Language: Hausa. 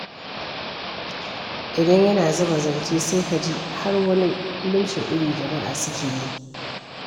Idan yana zuba zance, sai ka ji har wani lumshe ido jama'a suke yi.